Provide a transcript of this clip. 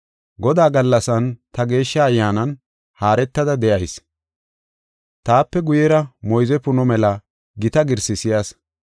Godaa gallasan ta Geeshsha Ayyaanan haaretada de7ayis; taape guyera moyze puno mela gita girsi si7as.